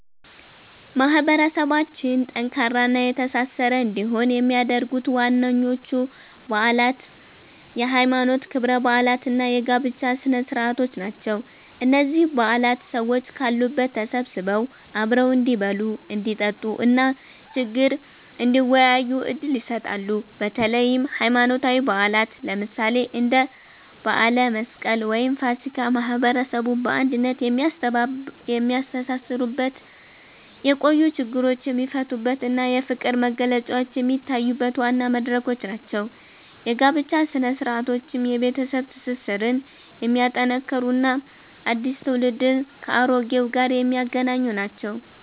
ማህበረሰባችን ጠንካራና የተሳሰረ እንዲሆን የሚያደርጉት ዋናዎቹ በዓላት የሃይማኖት ክብረ በዓላት እና የጋብቻ ስነ-ስርዓቶች ናቸው። እነዚህ በዓላት ሰዎች ካሉበት ተሰብስበው አብረው እንዲበሉ፣ እንዲጠጡ እና ችግር እንዲወያዩ ዕድል ይሰጣሉ። በተለይም ሃይማኖታዊ በዓላት፣ ለምሳሌ እንደ በዓለ መስቀል ወይም ፋሲካ፣ ማህበረሰቡን በአንድነት የሚያስተሳስሩበት፣ የቆዩ ችግሮች የሚፈቱበት እና የፍቅር መግለጫዎች የሚታዩበት ዋና መድረኮች ናቸው። የጋብቻ ሥነ-ስርዓቶችም የቤተሰብ ትስስርን የሚያጠናክሩ እና አዲስ ትውልድን ከአሮጌው ጋር የሚያገናኙ ናቸው።